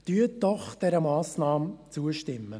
Stimmen Sie doch dieser Massnahme zu.